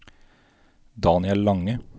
Daniel Lange